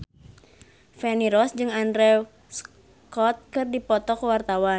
Feni Rose jeung Andrew Scott keur dipoto ku wartawan